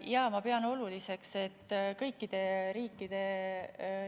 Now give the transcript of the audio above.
Jaa, ma pean oluliseks, et kõikide riikide